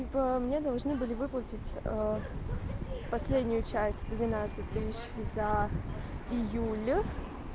типо мне должны были выплатить последнюю часть двенадцать тысяч за июль